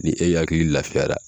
Ni e hakili laafiyara